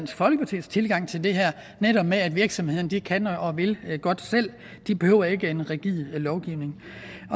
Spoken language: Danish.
folkepartis tilgang til det her nemlig at virksomhederne godt kan og vil selv de behøver ikke en rigid lovgivning